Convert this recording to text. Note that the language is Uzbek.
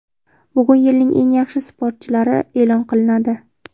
Bugun yilning eng yaxshi sportchilari e’lon qilinadi.